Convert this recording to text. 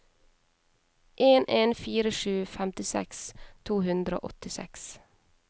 en en fire sju femtiseks to hundre og åttiseks